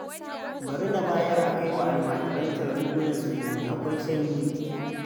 Bari na bayar a kai wa almajirancan rigunan sanyi, akwai sanyi!